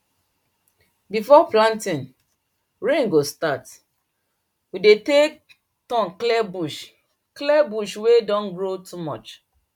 before planting rain go start we dey take turn clear bush clear bush wey don grow too much